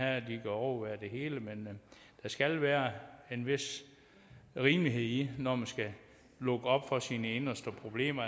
at de kan overvære det hele men der skal være en vis rimelighed i det når man skal lukke op for sine inderste problemer